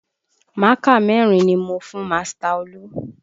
Mákà mẹ́rin ni mo fún master Olu